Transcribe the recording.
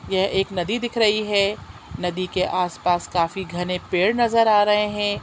यह एक नदी दिख रही है नदी के आस-पास काफी घने पेड़ नज़र आ रहें हैं।